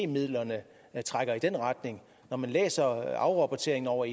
midlerne trækker i den retning når man læser afrapporteringen over